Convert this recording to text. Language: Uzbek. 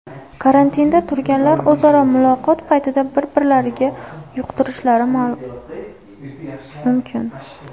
Karantinda turganlar o‘zaro muloqot paytida bir-birlariga yuqtirishlari mumkin.